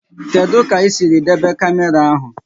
Kedụ kà isiri debe kamera áhu?